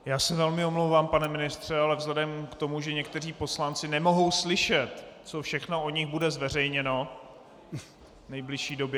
Já se velmi omlouvám, pane ministře, ale vzhledem k tomu, že někteří poslanci nemohou slyšet, co všechno o nich bude zveřejněno v nejbližší době...